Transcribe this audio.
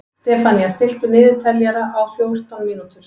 Stefanía, stilltu niðurteljara á fjórtán mínútur.